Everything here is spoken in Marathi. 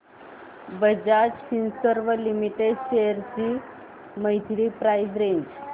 बजाज फिंसर्व लिमिटेड शेअर्स ची मंथली प्राइस रेंज